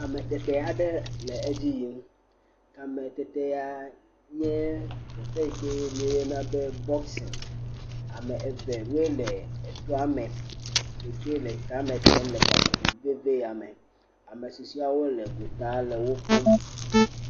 Kametete aɖe le edzi yim. Kametete ya nye teƒe yike woyɔna be boxing. Ame eve ye le etoa me eye wole kametem le gaƒoƒo vevi ya me. Ame susuawo le gota le wokpɔm.